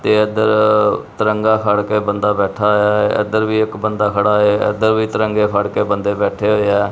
ਤੇ ਇੱਧਰ ਤਿਰੰਗਾ ਖੜਕੇ ਬੰਦਾ ਬੈਠਾ ਹੋਇਆ ਐ ਇੱਧਰ ਵੀ ਇਕ ਬੰਦਾ ਖੜਾ ਐ ਇੱਧਰ ਵੀ ਤਿਰੰਗੇ ਫੜਕੇ ਬੰਦੇ ਬੈਠੇ ਹੋਏ ਆ।